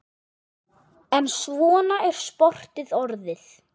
En svona er sportið orðið.